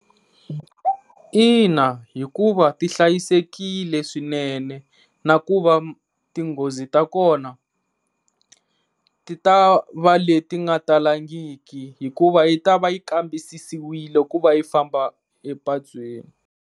Ina, hikuva ti hlayisekile swinene na ku va tinghozi ta kona ti ta va leti nga talangiki hikuva yi ta va yi kambisisiwile ku va yi famba epatwini.